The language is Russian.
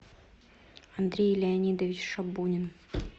андрей леонидович шабунин